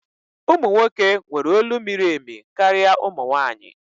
Ụmụ nwoke nwere olu miri emi karịa ụmụ nwanyị